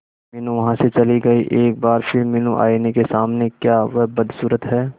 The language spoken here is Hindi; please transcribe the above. मीनू वहां से चली गई एक बार फिर मीनू आईने के सामने क्या वह बदसूरत है